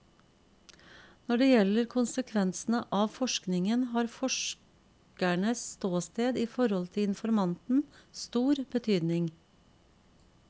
Når det gjelder konsekvensene av forskningen, har forskerens ståsted i forhold til informanten stor betydning.